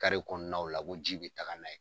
Kare kɔnɔnaw la ko ji be taga n'a ye.